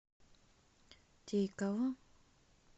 тейково